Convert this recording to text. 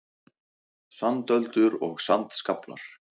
Sandöldur og sandskaflar.